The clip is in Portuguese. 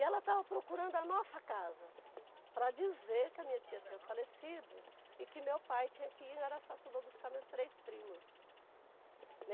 E ela estava procurando a nossa casa para dizer que a minha tia tinha falecido e que meu pai tinha que ir em Araçatuba buscar meus três primos.